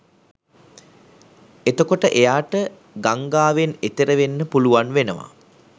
එතකොට එයාට ගංගාවෙන් එතෙර වෙන්න පුළුවන් වෙනවා